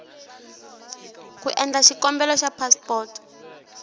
ku endla xikombelo xa phasipoto